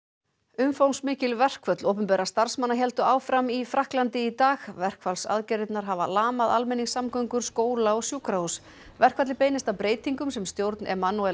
umfangsmikil verkföll opinberra starfsmanna héldu áfram í Frakklandi í dag verkfallsaðgerðirnar hafa lamað almenningssamgöngur skóla og sjúkrahús verkfallið beinist að breytingum sem stjórn